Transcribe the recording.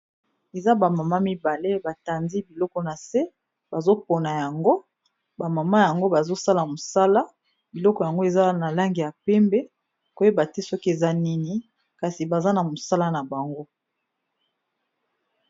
Eza ba mama mibale ba tandi biloko na se bazo pona yango, ba mama yango bazo sala mosala biloko yango eza na langi ya pembe. Koyeba te soki eza nini, kasi baza na mosala na bango.